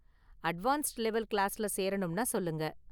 Advanced level கிளாஸ்ல சேரணும்னா சொல்லுங்க.